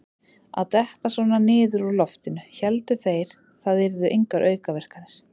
Að detta svona niður úr loftinu: héldu þeir það yrðu engar aukaverkanir?